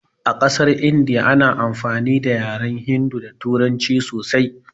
A ƙasar India ana amfani da yaren hindi da turanci sosai